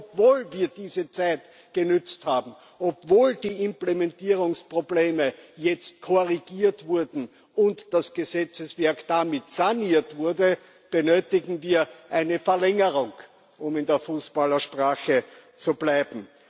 Obwohl wir diese Zeit genutzt haben, obwohl die Implementierungsprobleme jetzt korrigiert wurden und das Gesetzeswerk damit saniert wurde, benötigen wir eine Verlängerung, um in der Fußballersprache zu bleiben.